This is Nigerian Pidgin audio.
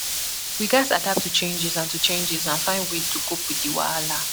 We gatz adapt to changes and to changes and find ways to cope with di wahala.